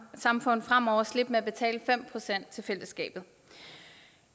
samfund fremover slippe med at betale fem procent til fællesskabet